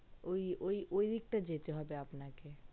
ওই ওই দিকটায় যেতে হবে আপনাকে